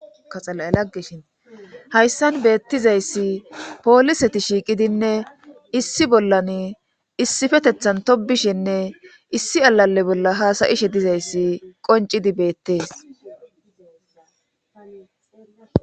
Hakaxala7e laggeshin hayssan beettizayssi pooliseti shiiqidinne issi bollan issifetethan tobishinne issi alalle bolla haasayishe dizayssi qoncidi beettees